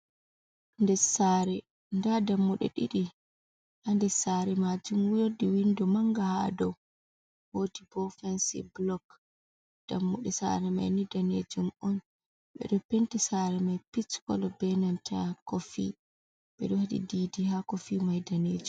Ndes saare. Ndaa dammuɗe ɗiɗi. Ha ndes saare maajum woodi windo manga haa dou, woodi bo fansi blok, dammuɗe saare mai ni daneejum on. Ɓe ɗo penti saare mai pich kolo be nanta kofi. Ɓe ɗo waɗi didi haa kofi mai daneejum.